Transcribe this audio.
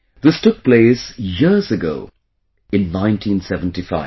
This took place years ago in 1975